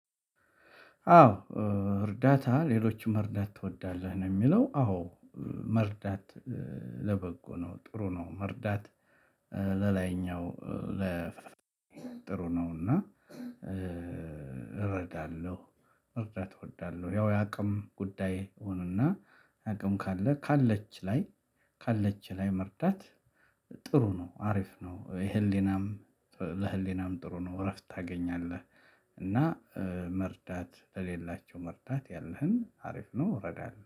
አዎ። እርዳታ ሌሎችን መርዳት ትወዳለህ ነው የሚለው አዎ። መርዳት ለበጎ ነው ጥሩ ነው። መርዳት ለላይኛው ለ ጥሩ ነውና። እረዳለሁ መርዳት እወዳለሁ። ያው የአቅም ጉዳይ ሆነና አቅም ካለ ካለች ላይ ካለች ላይ መርዳት ጥሩ ነው አሪፍ ነው። የህሊናም ለህሊናም ጥሩ ነው። እረፍት ታገኛለህ። እና መርዳት ለሌላቸው መርዳት ያለህን አሪፍ ነው እረዳለሁ